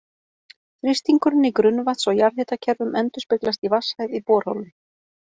Þrýstingurinn í grunnvatns- og jarðhitakerfum endurspeglast í vatnshæð í borholum.